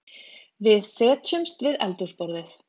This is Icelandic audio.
Við setjumst við eldhúsborðið.